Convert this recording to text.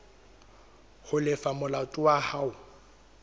ho lefa molato wa hao